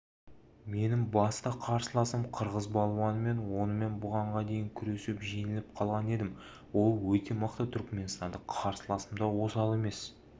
менің басты қарсыласым қырғыз балуаны мен онымен бұған дейін күресіп жеңіліп қалған едім ол өте мықты түрікменстандық қарсыласым да осал емес